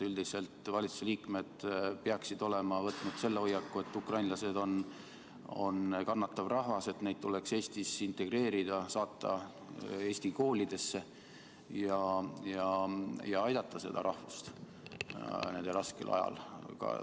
Üldiselt peaksid valitsuse liikmed olema võtnud hoiaku, et ukrainlased on kannatav rahvas, et neid tuleks Eestis integreerida, saata eesti koolidesse ja aidata seda rahvust nende raskel ajal.